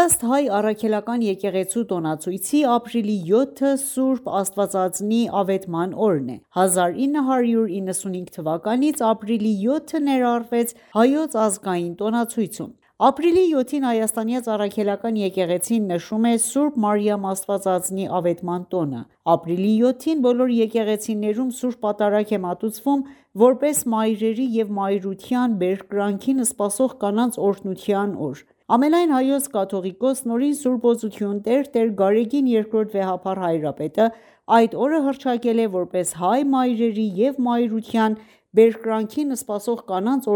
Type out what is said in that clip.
Ըստ Հայ առաքելական եկեղեցու տոնացույցի ապրիլի 7-ը Սուրբ Աստվածածնի Ավետման օրն է։ 1995 թ.–ից ապրիլի 7-ը ներառվեց հայոց ազգային տոնացույցում։ Ապրիլի 7-ին Հայաստանյաց Առաքելական եկեղեցին նշում է Ս. Մարիամ Աստվածածնի Ավետման տոնը։ Ապրիլի 7-ին բոլոր եկեղեցիներում Ս. Պատարագ է մատուցվում, որպես մայրերի և մայրության բերկրանքին սպասող կանանց օրհնության օր։ Ամենայն Հայոց կաթողիկոս Ն.Ս.Օ.Տ.Տ. Գարեգին Բ վեհափառ հայրապետը, այդ օրը հռչակել է ,որպես հայ մայրերի և մայրության բերկրանքին սպասող կանանց